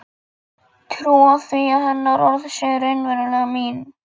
Trúa því að hennar orð séu raunverulega mín.